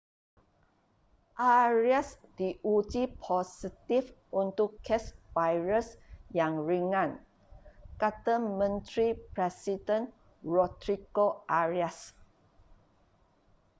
arias diuji positif untuk kes virus yang ringan kata menteri presiden rodrigo arias